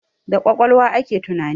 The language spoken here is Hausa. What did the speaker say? Da kwakwalwa ake tunani